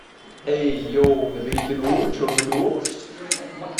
эй йоу набери кино черный дождь